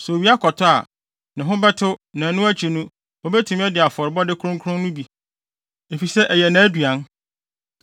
Sɛ owia kɔtɔ a, ne ho bɛtew na ɛno akyi no obetumi adi afɔrebɔde kronkron no bi, efisɛ ɛyɛ nʼaduan.